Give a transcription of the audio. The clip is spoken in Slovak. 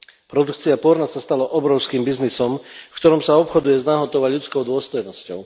Produkcia porna sa stala obrovským biznisom, v ktorom sa obchoduje s nahotou a ľudskou dôstojnosťou.